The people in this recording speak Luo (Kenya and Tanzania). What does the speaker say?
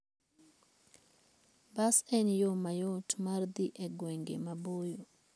Bas en yo mayot mar dhi e gwenge maboyo.